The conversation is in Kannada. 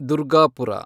ದುರ್ಗಾಪುರ